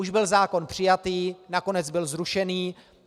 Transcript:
Už byl zákon přijatý, nakonec byl zrušený.